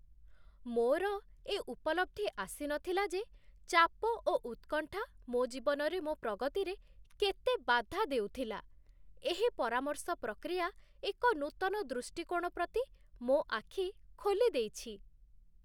ମୋର ଏ ଉପଲବ୍ଧି ଆସିନଥିଲା ଯେ ଚାପ ଓ ଉତ୍କଣ୍ଠା ମୋ ଜୀବନରେ ମୋ ପ୍ରଗତିରେ କେତେ ବାଧା ଦେଉଥିଲା। ଏହି ପରାମର୍ଶ ପ୍ରକ୍ରିୟା ଏକ ନୂତନ ଦୃଷ୍ଟିକୋଣ ପ୍ରତି ମୋ ଆଖି ଖୋଲି ଦେଇଛି!